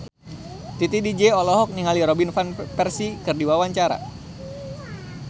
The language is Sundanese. Titi DJ olohok ningali Robin Van Persie keur diwawancara